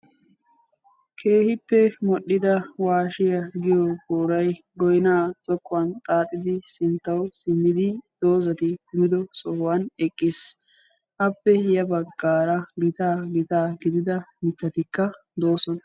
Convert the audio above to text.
Keehippe modhdhida waashiyaa giyo goyna zokkuwan xaaxxidi sinttawu simmidi dozati kumidosan eqqiis. Appe ya baggaarakka gitaa gidida miittatikka deosona.